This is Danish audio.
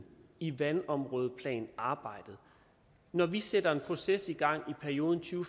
i vandområdeplanarbejdet når vi sætter en proces i gang i perioden to